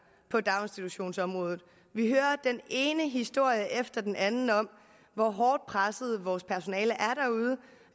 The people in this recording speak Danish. på daginstitutionsområdet vi hører den ene historie efter den anden om hvor hårdt presset vores personale